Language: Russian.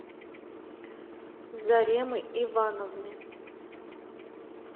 заремы ивановны